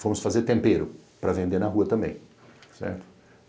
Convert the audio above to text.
Fomos fazer tempero para vender na rua também, certo?